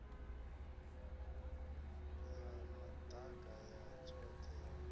ya madaka ya tshothe ya